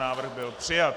Návrh byl přijat.